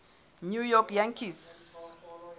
new york yankees